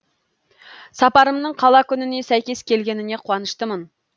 сапарымның қала күніне сәйкес келгеніне қуаныштымын